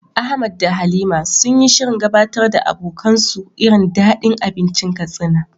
Ahmad da Halima sun yi shirin gabatar da abokansu irin dadin abincin Katsina.